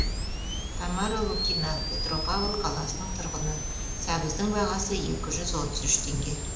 тамара лукина петропавл қаласының тұрғыны сәбіздің бағасы екі жүз отыз үш теңге